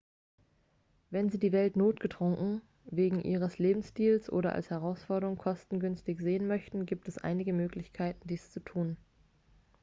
wenn sie die welt notgedrungen wegen ihres lebensstils oder als herausforderung kostengünstig sehen möchten gibt es einige möglichkeiten dies zu tun